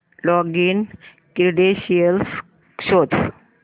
login credentials शोध